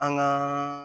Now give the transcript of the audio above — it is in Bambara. An ka